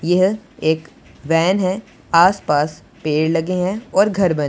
यह एक वैन है आस पास पेड़ लगे हैं और घर ब--